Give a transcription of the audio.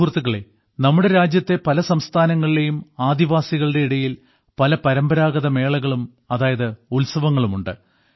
സുഹൃത്തുക്കളേ നമ്മുടെ രാജ്യത്തെ പല സംസ്ഥാനങ്ങളിലേയും ആദിവാസികളുടെ ഇടയിൽ പല പരമ്പരാഗത മേളകളും അതായത് ഉത്സവങ്ങളുമുണ്ട്